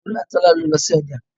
Tolú àti Tọ́lá ló lọ sí ọjà